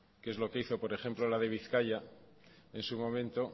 que es lo que hizo por ejemplo la de bizkaia en su momento